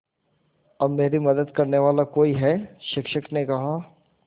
अब मेरी मदद करने वाला कोई है शिक्षक ने कहा